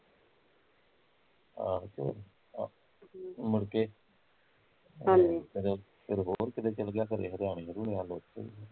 ਆਹੋ ਤੇ ਹਮ ਮੁੜ ਕੇ ਹਮ ਤੇ ਮੁੜ ਕੇ ਫੇਰ ਕਿਤੇ ਚੱਲ ਗਿਆ ਖੋਰੇ ਕਹਿੰਦੇ ਹਰਿਆਣੇ ਹੁਰਿਆਣੇ ਵੱਲ